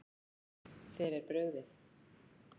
Þér er brugðið.